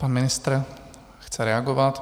Pan ministr chce reagovat.